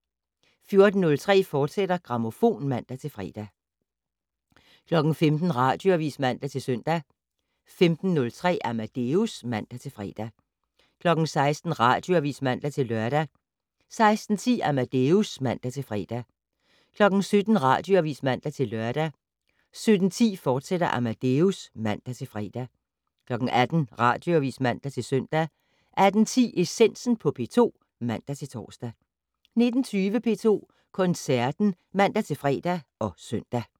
14:03: Grammofon, fortsat (man-fre) 15:00: Radioavis (man-søn) 15:03: Amadeus (man-fre) 16:00: Radioavis (man-lør) 16:10: Amadeus (man-fre) 17:00: Radioavis (man-lør) 17:10: Amadeus, fortsat (man-fre) 18:00: Radioavis (man-søn) 18:10: Essensen på P2 (man-tor) 19:20: P2 Koncerten (man-fre og søn)